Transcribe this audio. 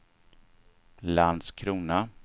Landskrona